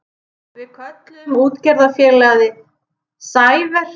Við kölluðum útgerðarfélagið Sæver.